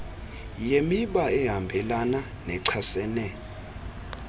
yemiba ehambelana nechasene